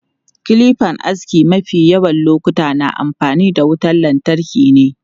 Kilipan aski mafi yawan lokuta na amfani da wutan lantarki ne.